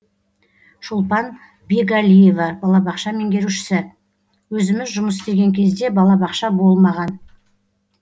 шолпан бекәлиева балабақша меңгерушісі өзіміз жұмыс істеген кезде балабақша болмаған